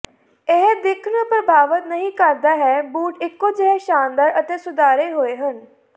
ਇਹ ਦਿੱਖ ਨੂੰ ਪ੍ਰਭਾਵਤ ਨਹੀਂ ਕਰਦਾ ਹੈ ਬੂਟ ਇਕੋ ਜਿਹੇ ਸ਼ਾਨਦਾਰ ਅਤੇ ਸੁਧਾਰੇ ਹੋਏ ਹਨ